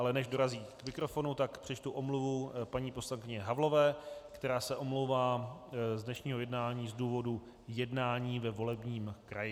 Ale než dorazí k mikrofonu, tak přečtu omluvu paní poslankyně Havlové, která se omlouvá z dnešního jednání z důvodu jednání ve volebním kraji.